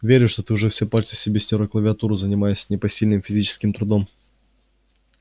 верю что ты уже все пальцы себе стер о клавиатуру занимаясь непосильным физическим трудом